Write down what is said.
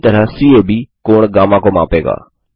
उसी तरह सीएबी कोण गामा को मापेगा